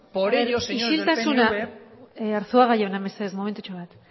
señores del pnv isiltasuna arzuaga jauna mesedez momentutxo bat